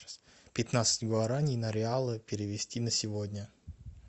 пятнадцать гуарани на реалы перевести на сегодня